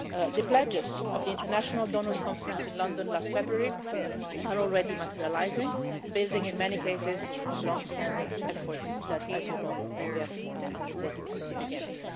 The pledges of the International Donors Conference in London last February are already materialising, building in many cases on long-standing efforts that, as you know, we have undertaken since the beginning.